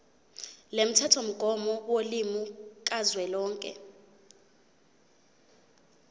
lomthethomgomo wolimi kazwelonke